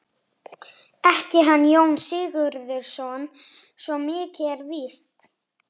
Ekki hann Jón Sigurðsson, svo mikið er víst.